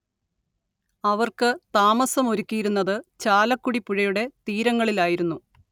അവർക്ക് താമസം ഒരുക്കിയിരുന്നത് ചാലക്കുടിപ്പുഴയുടെ തീരങ്ങളിലായിരുന്നു